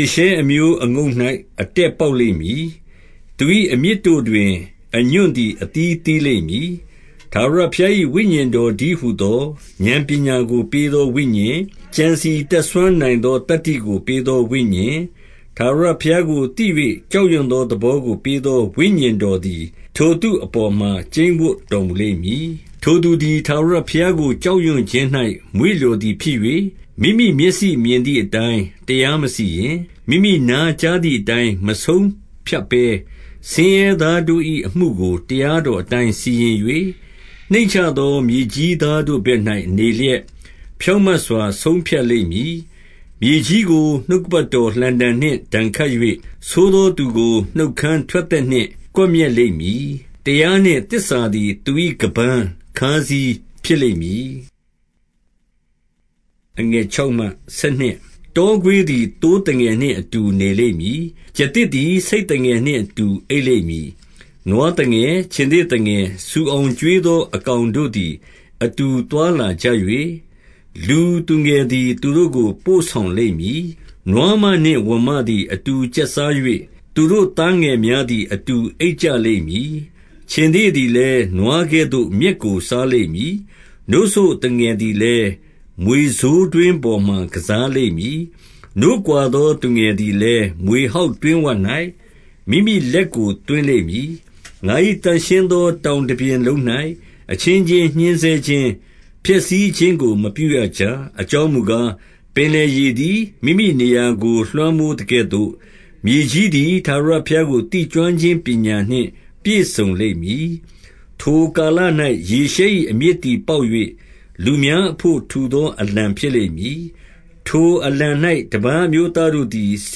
ေရှဲအမျိုးအငုတ်၌ အတက်ပေါက်လိမ့်မည်။ သူ၏အမြစ်တို့တွင် အညွန့်သည် အသီးသီးလိမ့်မည်။ 2 ထာဝရဘုရား၏ ဝိညာဉ်တော်တည်းဟူသော ဥာဏ်ပညာကို ပေးသောဝိညာဉ်၊ ကြံစည်တတ် စွမ်းနိုင် သော သတ္တိကိုပေးသောဝိညာဉ်၊ ထာဝရဘုရားကိုသိ၍ ကြောက်ရွံ့သောသဘောကို ပေးသောဝိညာဉ်တော်သည် ထိုသူအပေါ်မှာ ကျိန်းဝပ်တော်မူလိမ့်မည်။ 3 ထိုသူသည် ထာဝရဘုရားကို ကြောက်ရွံ့ခြင်း၌ မွေ့လျော်သည်ဖြစ်၍၊ မိမိမျက်စိမြင်သည်အတိုင်း တရားမစီရင်၊ မိမိနားကြားသည်အတိုင်းမဆုံးဖြတ်ဘဲ၊ 4 ဆင်းရဲသားတို့၏ အမှုကိုတရားတော် အတိုင်း စီရင်၍၊နှိမ့်ချသော မြေကြီးသားတို့ဘက်၌ နေလျက်၊ ဖြောင့်မတ်စွာ ဆုံးဖြတ်လိမ့်မည်။ မြေကြီးကိုနှုတ်က ပတ်တော် လှံတံနှင့် ဒဏ်ခတ်၍၊ ဆိုးသောသူကို နှုတ်ခမ်း ထွက်သက်နှင့် ကွပ်မျက်လိမ့်မည်။ 5 တရားနှင့်သစ္စာသည် သူ၏ ခါးပန်း ခါးစည်း ဖြစ်လိမ့်မည်။ 6 တောခွေးသည် သိုးသငယ်နှင့်အတူ နေလိမ့် မည်။ ကျားသစ်သည် ဆိတ်သငယ်နှင့်အတူ အိပ်လိမ့် မည်။ နွားသငယ်၊ခြင်္သေ့သငယ်၊ ဆူအောင်ကျွေးသော အကောင်တို့သည် အတူသွားလာကြ၍၊လူသူငယ်သည် သူတို့ကို ပို့ဆောင်လိမ့်မည်။ 7 နွားမနှင့်ဝံမသည် အတူကျက်စား၍၊သူတို့ သားငယ်များသည် အတူအိပ်ကြလိမ့်မည်။ ခြင်္သေ့သည် လည်း နွားကဲ့သို့ မြက်ကိုစားလိမ့်မည်။ 8 နို့စို့သူငယ်သည်လည်း မြွေဆိုးတွင်းပေါ်မှာ ကစားလိမ့်မည်။ နို့ကွာသော သူငယ်သည်လည်း၊ မြွေ ဟောက်တွင်းဝ၌ မိမိလက်ကိုသွင်းလိမ့်မည်။ 9 ငါ၏ သန့်ရှင်းသောတောင်တပြင်လုံး၌ အချင်း ချင်းညှဉ်းဆဲခြင်း၊ ဖျက်ဆီးခြင်းကို မပြုရကြ။ အကြောင်း မူကား၊ပင်လယ်ရေသည် မိမိနေရာကို လွှမ်းမိုးသကဲ့သို့၊ မြေကြီးသည် ထာဝရဘုရားကို သိကျွမ်းခြင်းပညာနှင့် ပြည့်စုံလိမ့်မည်။ 10 ထိုကာလ၌ ယေရှဲ၏အမြစ်သည် ပေါက်၍၊လူ များအဘို့ထူသောအလံ ဖြစ်လိမ့်မည်။ ထိုအလံ၌ တပါးအ မျိုးသားတို့သည် ဆ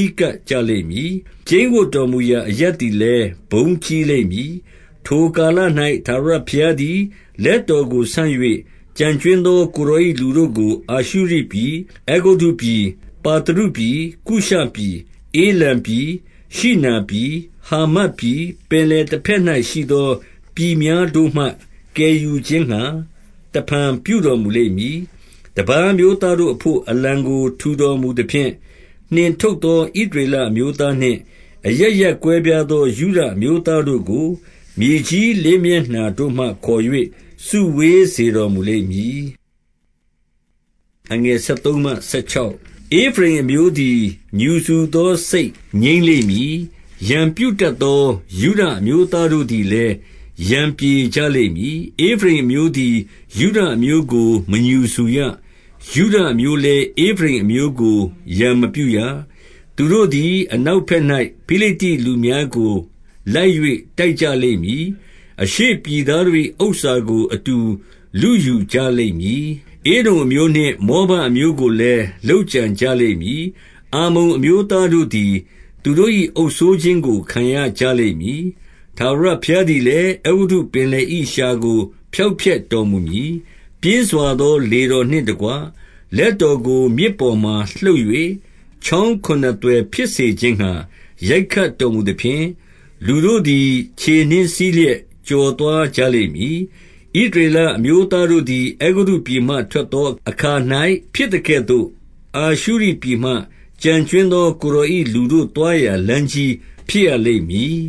ည်းကပ်ကြလိမ့်မည်။ကျိန်းဝပ်တော်မူ ရာအရပ်သည်လည်း ဘုန်းကြီးလိမ့်မည်။ 11 ထိုကာလ၌ ထာဝရဘုရားသည် လက်တော်ကို ဆန့်၍၊ ကျန်ကြွင်းသော ကိုယ်တော်၏ လူတို့ကိုအာရှုရိ ပြည်၊ အဲဂုတ္တုပြည်၊ ပါသရုပြည်၊ ကုရှပြည်၊ ဧလံပြည်၊ ရှိနာပြည်၊ဟာမတ်ပြည်၊ ပင်လယ်တဘက်၌ရှိသော ပြည် များတို့မှ ကယ်ယူခြင်းငှါ တဖန်ပြုတော်မူလိမ့်မည်။ 12 တပါးအမျိုးသားတို့အဘို့ အလံကိုထူတော်မူ သဖြင့်၊ နှင်ထုတ်သောဣသရေလအမျိုးသားနှင့်၊ အရပ် ရပ်ကွဲပြားသောယုဒအမျိုးသားတို့ကို မြေကြီးလေး မျက်နှာတို့မှ ခေါ်၍ စုဝေးစေတော်မူလိမ့်မည်။ 13 ဧဖရိမ်အမျိုးသည် ငြူစူသောစိတ်ငြိမ်းလိမ့်မည်။ ရန်ပြုတတ်သော ယုဒအမျိုးသားတို့သည်လည်း၊ ရန်ပြေ ကြလိမ့်မည်။ ဧဖရိမ်အမျိုးသည် ယုဒအမျိုးကို မငြူစူရ။ ယုဒအမျိုးလည်း ဧဖရိမ်အမျိုးကို ရန်မပြုရ။ 14 သူတို့သည် အနောက်ဘက်၌ ဖိလိတ္တိလူများကို လိုက်၍ တိုက်ကြလိမ့်မည်။ အရှေ့ပြည်သားတို့၏ ဥစ္စာကို အတူလုယူကြလိမ့်မည်။ဧဒုံအမျိုးနှင့် မောဘအမျိုး ကိုလည်း လုပ်ကြံကြလိမ့်မည်။ အမ္မုန်အမျိုးသားတို့ သည်သူတို့၏အုပ်စိုးခြင်းကို ခံရကြလိမ့်မည်။ 15 ထာဝရဘုရားသည်လည်း၊ အဲဂုတ္တုပင်လယ်၏ လျှာကိုဖျောက်ဖျက်တော်မူမည်။ ပြင်းစွာသောလေတော် နှင့် တကွလက်တော်ကိုမြစ် ပေါ်မှာလှုပ်၍၊ ချောင်းခုနစ် သွယ်ဖြစ်စေခြင်းငှါ ရိုက်ခတ်တော်မူသဖြင့်၊ လူတို့သည် ခြေနင်းစီးလျက် ကျော်သွားကြလိမ့်မည်။ 16 ဣသရေလအမျိုးသားတို့သည် အဲဂုတ္တုပြည် မှထွက်သွားသောအခါ၌ ဖြစ်သကဲ့သို့၊ အာရှုရိပြည်မှ ကျန်ကြွင်းသော ကိုယ်တော်၏လူတို့သွားရာလမ်း ကြီးဖြစ်ရလိမ့်မည်